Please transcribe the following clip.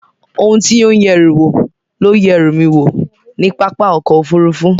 Ohun tí ó ń yẹ ẹrù wò ló yẹ ẹrú mi wò ní pápá ọkọ̀ Òfurufú